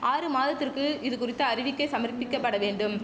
ஆறு மாதத்திற்கு இது குறித்த அறிவிக்கெ சமர்பிக்கப்பட வேண்டும்